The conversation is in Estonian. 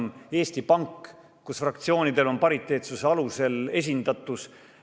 Eesti Pank, on fraktsioonidel pariteetsuse alusel esindatus.